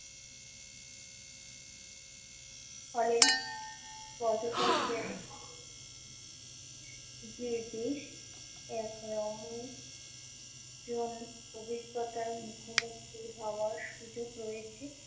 ফলে পর্যটকদের যে বিষ একরমন জল অভিজ্ঞতার মুখোমুখি হওয়ার সুযোগ রয়েছে।